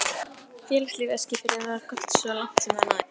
Félagslífið á Eskifirði var gott svo langt sem það náði.